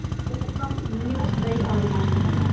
сондықтан міне осындай айырмашылығы бар